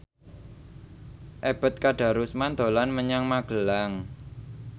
Ebet Kadarusman dolan menyang Magelang